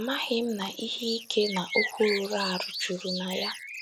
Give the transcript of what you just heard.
Amaghị m na ihe ike na okwu rụrụ arụ juru na ya!